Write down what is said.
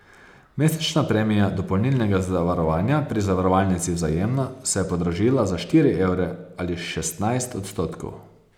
Mesečna premija dopolnilnega zavarovanja pri zavarovalnici Vzajemna se je podražila za štiri evre ali šestnajst odstotkov.